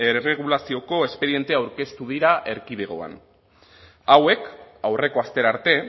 erregulazioko espediente aurkeztu dira erkidegoan hauek aurreko astera arte